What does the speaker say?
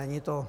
Není to...